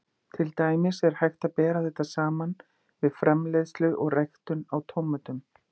Til dæmis er hægt að bera þetta saman við framleiðslu og ræktun á tómötum.